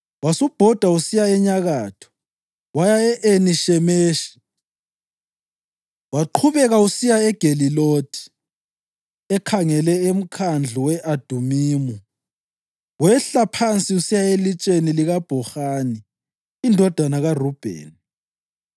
Wasubhoda usiya enyakatho, waya e-Eni Shemeshi, waqhubeka usiya eGelilothi ekhangele uMkhandlu we-Adumimu, wehla phansi usiya elitsheni likaBhohani indodana kaRubheni.